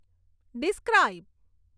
describe